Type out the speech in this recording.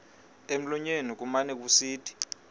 emlonyeni kumane kusithi